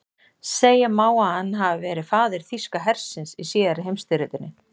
segja má að hann hafi verið faðir þýska hersins í síðari heimsstyrjöldinni